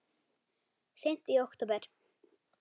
Seint í október